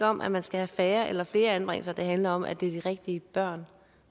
om at man skal have færre eller flere anbringelser men at det handler om at det er de rigtige børn